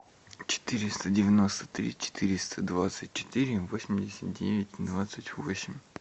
четыреста девяносто три четыреста двадцать четыре восемьдесят девять двадцать восемь